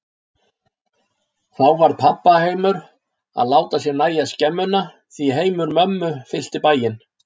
Þá varð pabba heimur að láta sér nægja skemmuna, því heimur mömmu fyllti bæinn.